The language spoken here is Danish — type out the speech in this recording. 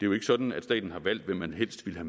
jo ikke sådan at staten har valgt hvem man helst ville